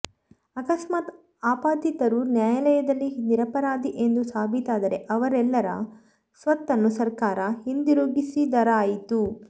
ಅಕಸ್ಮಾತ್ ಆಪಾದಿತರು ನ್ಯಾಯಾಲಯದಲ್ಲಿ ನಿರಪರಾಧಿ ಎಂದು ಸಾಬೀತಾದರೆ ಅವರೆಲ್ಲರ ಸ್ವತ್ತನ್ನು ಸರ್ಕಾರ ಹಿಂದಿರುಗಿಸಿದರಾಯಿತು